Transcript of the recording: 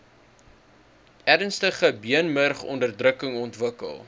ernstige beenmurgonderdrukking ontwikkel